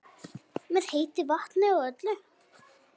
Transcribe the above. Með heitu vatni og öllu?